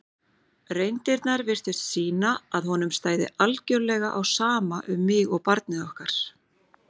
reyndirnar virtust sýna að honum stæði algjörlega á sama um mig og barnið okkar.